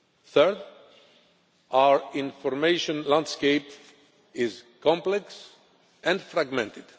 Third, our information landscape is complex and fragmented.